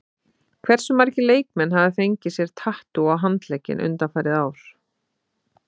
Hversu margir leikmenn hafa fengið sér tattú á handlegginn undanfarið ár?